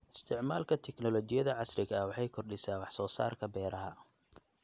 Isticmaalka tignoolajiyada casriga ah waxay kordhisaa wax soo saarka beeraha.